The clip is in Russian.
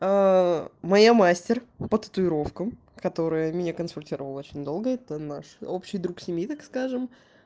моя мастер по татуировкам которая меня консультировала очень долго это наш общий друг семьи так скажем